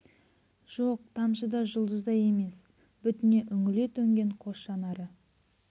жоқ тамшы да жұлдыз да емес бетіне үңіле төнген қос жанары